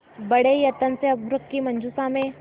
बड़े यत्न से अभ्र्रक की मंजुषा में